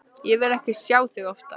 Ég vil ekki sjá þig oftar.